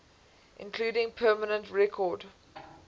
including permanent record